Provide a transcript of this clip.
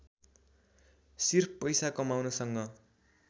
सिर्फ पैसा कमाउनसँग